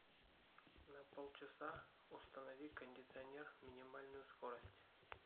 на полчаса установи кондиционер минимальную скорость